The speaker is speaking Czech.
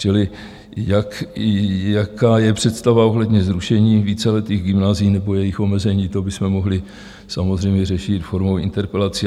Čili jaká je představa ohledně zrušení víceletých gymnázií nebo jejich omezení, to bychom mohli samozřejmě řešit formou interpelací.